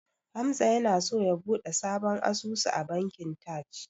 Hamza yana so ya buɗe sabon asusu a bankin Taj.